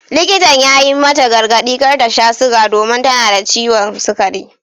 Likitan ya yi mata gargadi kar ta sha suga domin tana da ciwon sugari.